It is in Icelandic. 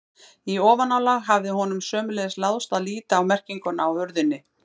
Í ofanálag hafði honum sömuleiðis láðst að líta á merkinguna á hurðinni.